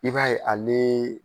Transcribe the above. I b'a ye alee